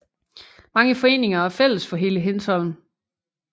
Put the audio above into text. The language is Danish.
Mange foreninger er fælles for hele Hindsholm